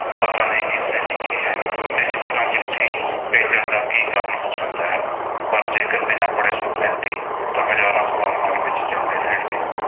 ਪਤਾ ਨਹੀਂ ਕਿਸ ਨੇ ਲਿਖੀ ਹੈ ਤੇ ਇਸ ਤਰ੍ਹਾਂ ਚਿੱਠੀ ਭੇਜਣ ਦਾ ਕੀ ਕਾਰਨ ਹੋ ਸਕਦਾ ਹੈ। ਪਰ ਜੇਕਰ ਬਿਨਾਂ ਪੜ੍ਹੇ ਸੁੱਟ ਦਿੱਤੀ ਤਾਂ ਹਜ਼ਾਰਾਂ ਸਵਾਲ ਮਨ ਵਿੱਚ ਚਲਦੇ ਰਹਿਣਗੇ।